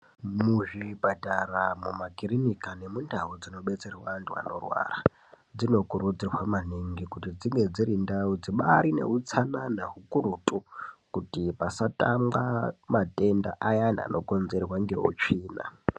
Muzvipatara mumakiriniki nemundau dzinobetserwa antu anorwara, dzinokurudzirwa maningi kuti dzinge dziri ndau dzibaari neutsanana, kukurutu kuti pasatangwa matenda ayana anokonzerwa ngeutsvina.